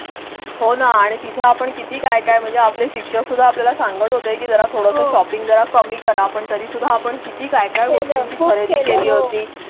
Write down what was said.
हो ना आणि तिथे आपण किती काय काय? म्हणजे आपले शिक्षणसुद्धा आपल्याला सांगत होते की जर थोडं शॉपिंग जरा कमी करा पण तरीसुद्धा आपण किती काय काय गोष्टीची खरेदी केली होती?